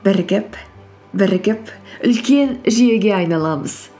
бірігіп бірігіп үлкен жүйеге айналамыз